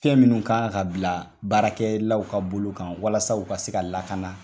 Fɛn minnu kan ka bila baarakɛlaw ka bolo kan walasa u ka se ka lakana